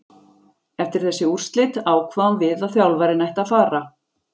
Eftir þessi úrslit ákváðum við að þjálfarinn ætti að fara,